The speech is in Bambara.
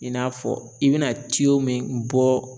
I n'a fɔ i be na min bɔ